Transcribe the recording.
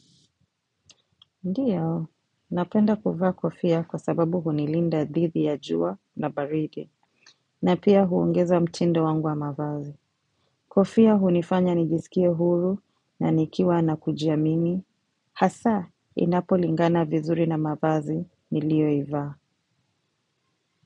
Ndiyo, napenda kufa kofia kwa sababu hunilinda didhi ya juwa na baridi, na pia huongeza mtindo wangu wa mavazi. Kofia hunifanya nijisikie huru na nikiwa na kujiamini, hasa inapo lingana vizuri na mavazi ni liyo iva.